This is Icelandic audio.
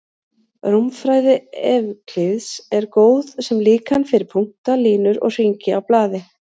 Rúmfræði Evklíðs er góð sem líkan fyrir punkta, línur og hringi á blaði.